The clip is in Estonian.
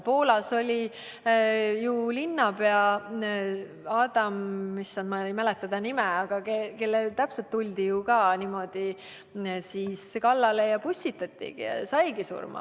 Poolas oli ju linnapea Adam – ma ei mäleta enam tema nime –, kellele tuldi ju täpselt niimoodi kallale ja keda pussitati ja kes saigi surma.